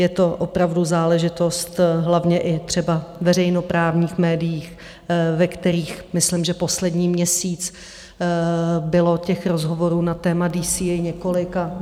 Je to opravdu záležitost hlavně i třeba veřejnoprávních médií, ve kterých myslím , že poslední měsíc bylo těch rozhovorů na téma DCA několik.